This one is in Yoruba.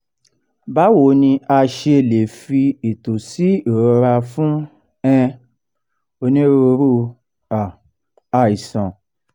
bawo ni a she le fi eto si ìrora fún um onírúurú um àìsàn